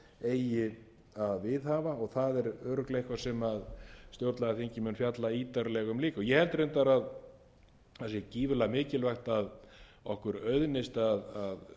að viðhafa og það er örugglega eitthvað sem stjórnlagaþingið mun fjalla ítarlega um líka ég held reyndar að það sé gífurlega mikilvægt að okkur auðnist að